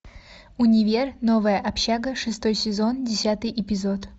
универ новая общага шестой сезон десятый эпизод